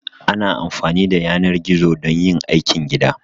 Ana amfani da yanar gizo don yin aikin gida